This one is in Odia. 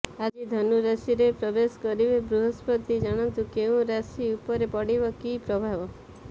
ଆଜି ଧନୁ ରାଶିରେ ପ୍ରବେଶ କରିବେ ବୃହସ୍ପତି ଜାଣନ୍ତୁ କେଉଁ ରାଶି ଉପରେ ପଡ଼ିବ କି ପ୍ରଭାବ